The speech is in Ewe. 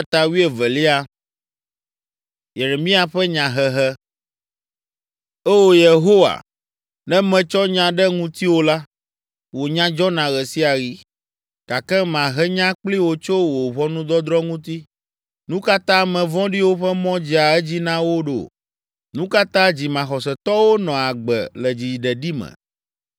Oo, Yehowa, ne metsɔ nya ɖe ŋutiwò la, wò nya dzɔna ɣe sia ɣi. Gake mahe nya kpli wò tso wò ʋɔnudɔdrɔ̃ ŋuti. Nu ka ta ame vɔ̃ɖiwo ƒe mɔ dzea edzi na wo ɖo? Nu ka ta dzimaxɔsetɔwo nɔa agbe le dziɖeɖi me?